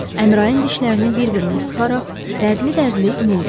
Əmrayin dişlərini bir-birinə sıxaraq dərdli-dərdli inildədi.